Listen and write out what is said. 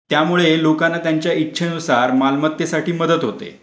त्यामुळे लोकांना त्यांच्या इच्छा नुसार मालमत्तेसाठी मदत होते.